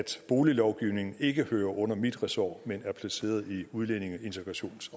boliglovgivning ikke hører under mit ressort men er placeret i udlændinge integrations